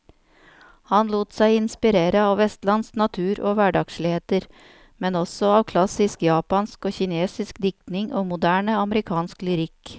Han lot seg inspirere av vestlandsk natur og hverdagsligheter, men også av klassisk japansk og kinesisk diktning og moderne amerikansk lyrikk.